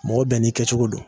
Mɔgɔ bɛɛ n'i kɛcogo don